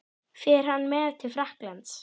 Fer hann með til Frakklands?